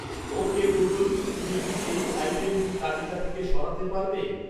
ওকে Google তুমি কি এই আইটেমটি তালিকা থেকে সরাতে পারবে